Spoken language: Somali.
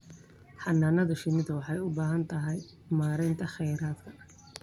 Xannaanada shinnidu waxay u baahan tahay maaraynta kheyraadka.